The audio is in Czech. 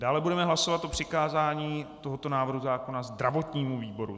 Dále budeme hlasovat o přikázání tohoto návrhu zákona zdravotnímu výboru.